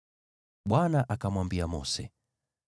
Bwana akamwambia Mose,